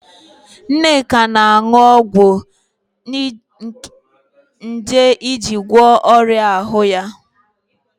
Nneka na-aṅụ ọgwụ nje iji gwọọ ọrịa ahụ ya.